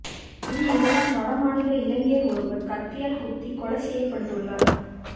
இந்நிலையில் வடமாநில இளைஞர் ஒருவர் கத்தியால் குத்தி கொலை செய்யப்பட்டுள்ளார்